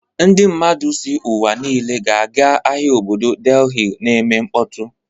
Ndị mmadụ si n'ụwa niile ga-aga ahịa obodo Delhi na-eme mkpọtụ.